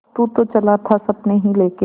तू तो चला था सपने ही लेके